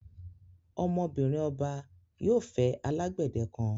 Ọmọ-binrin ọbà yóò fẹ́ alágbedẹ̀ kan.